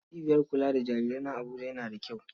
Cibiyar kula da jarirai na Abuja yana da kyau.